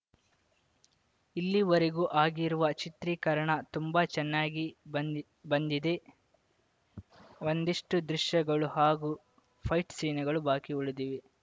ಇಲ್ಲಿವರೆಗೂ ಆಗಿರುವ ಚಿತ್ರೀಕರಣ ತುಂಬಾ ಚೆನ್ನಾಗಿ ಬಂದ್ ಬಂದಿದೆ ಒಂದಿಷ್ಟುದೃಶ್ಯಗಳು ಹಾಗೂ ಫೈಟ್‌ ಸೀನ್‌ಗಳು ಬಾಕಿ ಉಳಿದಿವೆ